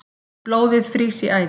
Blóðið frýs í æðum